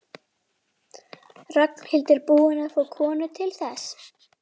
Ragnhildur búin að fá konu til þess?